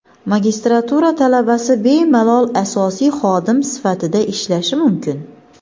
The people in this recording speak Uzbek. Magistratura talabasi bemalol asosiy xodim sifatida ishlashi mumkin.